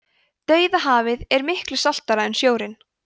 dauðahafið er miklu saltara en sjórinn